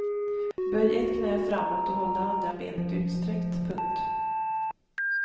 Böj ett knä framåt och håll det andra benet utsträckt. punkt